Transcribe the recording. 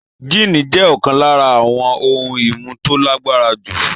Jíìnì jẹ́ ọ̀kan lára àwọn ohun-ìmu tó lágbára jù.